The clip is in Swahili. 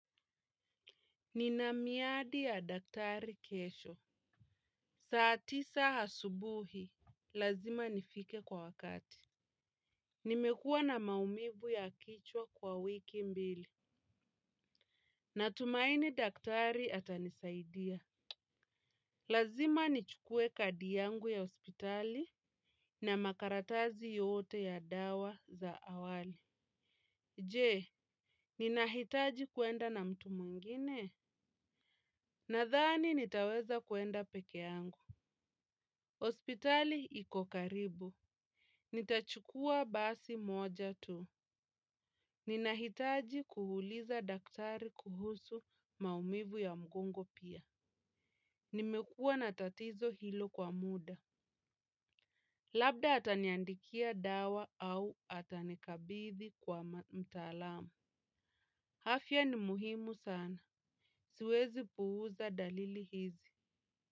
Nina miadi ya daktari kesho. Saa tisa asubuhi. Lazima nifike kwa wakati. Nimekua na maumivu ya kichwa kwa wiki mbili. Natumaini daktari atanisaidia. Lazima nichukue kadi yangu ya hospitali na makaratasi yote ya dawa za awali. Je, ninahitaji kuenda na mtu mwingine? Nadhani nitaweza kuenda pekee yangu. Hospitali iko karibu. Nitachukua basi moja tu. Ninahitaji kuuliza daktari kuhusu maumivu ya mgongo pia. Nimekuwa na tatizo hilo kwa muda. Labda ataniandikia dawa au atanikabidhi kwa mtaalamu afya ni muhimu sana. Siwezi puuza dalili hizi.